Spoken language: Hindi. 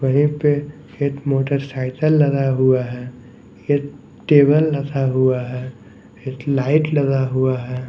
वहीं पे एक मोटरसाइकिल लगा हुआ है एक टेबल रखा हुआ है एक लाइट लगा हुआ है।